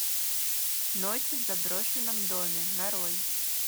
ночь в заброшенном доме нарой